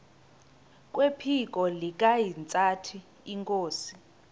kwephiko likahintsathi inkosi